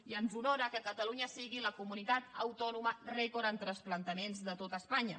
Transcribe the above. i ens honora que catalunya sigui la comunitat autònoma rècord en transplantaments de tot espanya